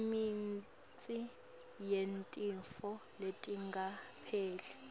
imitsi yetifo letingapheli